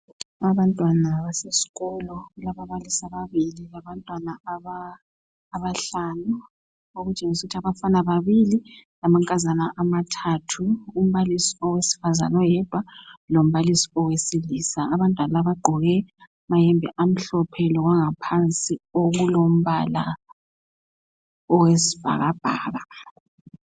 Abantwana basesikolo kubalaba balisi ababili labantwana abahlanu okutshengisa ukuthi abafana ababili lamankazana mathathu, umbalisi owesifazana oyedwa lombalisi owesilisa abantwana abaqgoke amayembe amhlophe lokwangaphansi okulombala owesibhakabhaka.